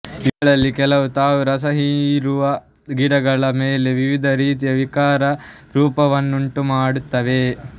ಇವುಗಳಲ್ಲಿ ಕೆಲವು ತಾವು ರಸ ಹೀರುವ ಗಿಡಗಳ ಮೇಲೆ ವಿವಿಧ ರೀತಿಯ ವಿಕಾರ ರೂಪವನ್ನುಂಟುಮಾಡುತ್ತವೆ